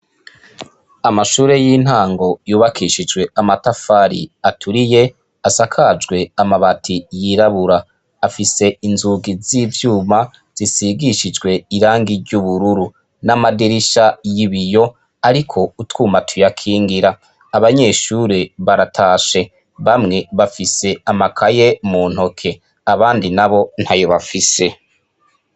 Amashure y'intango yubakishijw' amatafar' aturiye, asakajw' amabati yirabura, afis' inzugi z' ivyuma zisigishijw' irangi ry' ubururu n' amadirisha yibiy' arik' utwuma tuyakingir' abanyeshure baratashe bamwe bafis' amakaye muntoki abandi nabo ntayo bafise.